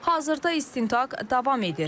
Hazırda istintaq davam edir.